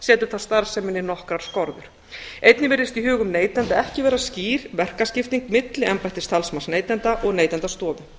setur það starfseminni nokkrar skorður einnig virðist í hugum neytenda ekki vera skýr verkaskipting milli embættis talsmanns neytenda og neytendastofu